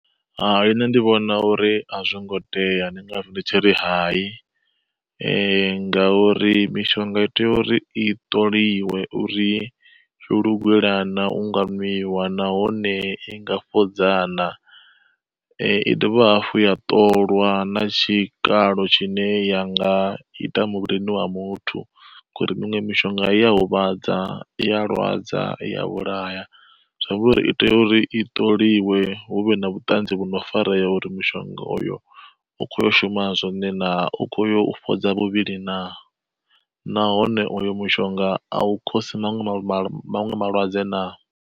Hai nṋe ndi vhona uri a zwo ngo tea, ndi ngazwo ndi tshi ri hai. Ngauri mishonga i tea uri i ṱoliwe uri yo lugelaho na u nga ṅwiwa, nahone i nga fhodza na. I dovha hafhu ya ṱolwa na tshikalo tshine ya nga ita muvhilini wa muthu, ngori miṅwe mishonga iya huvhadza iya lwadza ya vhulaya zwamba uri i tea uri i ṱholiwe hu vhe na vhutanzi vhu no farea uri mushonga uyo u kho shuma zwone na u khoya u fhodza muvhili na. Nahone uyo mushonga a u khosi maṅwe malwadze na.